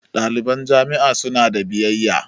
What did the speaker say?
Ɗaliban jami'a su na da biyayya